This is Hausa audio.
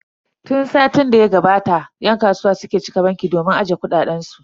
Tun satin da ya gabata yan kasuwa suke cika banki domin ajiye kuɗaɗen su.